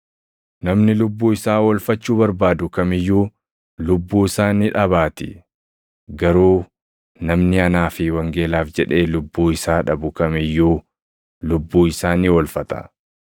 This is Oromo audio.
Namni lubbuu isaa oolfachuu barbaadu kam iyyuu lubbuu isaa ni dhabaatii; garuu namni anaa fi wangeelaaf jedhee lubbuu isaa dhabu kam iyyuu lubbuu isaa ni oolfata.